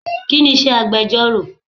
Kini iṣẹ́ agbẹjoro?